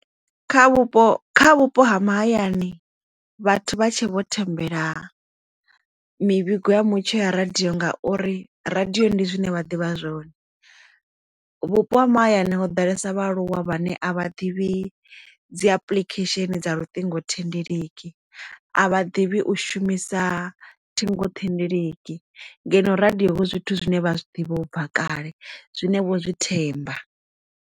Kha vhupo kha vhupo ha mahayani vhathu vha tshe vho thembela mivhigo ya mutsho ya radiyo ngauri radio ndi zwine vha ḓivha zwone vhupo ha mahayani ho ḓalesa vhaaluwa vhane a vha ḓivhi dzi application dza luṱingo thendeleki a vha ḓivhi u shumisa ṱhingo thendeleki ngeno radio hu zwithu zwine vha zwi ḓivha u bva kale zwine vho zwi themba.